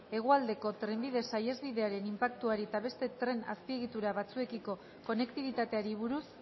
hegoaldeko tren saihesbidearen inpaktuari eta beste tren azpiegitura batzuekiko konektibitateari buruz